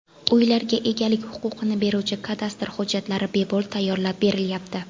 Uylarga egalik huquqini beruvchi kadastr hujjatlari bepul tayyorlab berilyapti.